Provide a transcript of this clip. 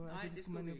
Nej det skulle vi ikke